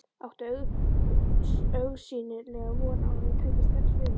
Átti augsýnilega von á að ég tæki strax við mér.